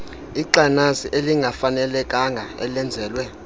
ixanasi elingafanelekanga elenzelwe